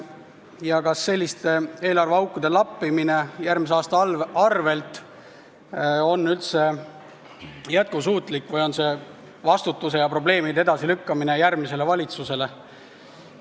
Ja kas selline eelarveaukude lappimine järgmise aasta arvel on üldse jätkusuutlik või on see vastutuse ja probleemide lükkamine järgmise valitsuse kaela?